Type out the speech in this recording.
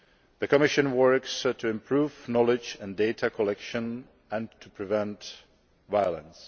The Commission is working to improve knowledge and data collection and to prevent violence.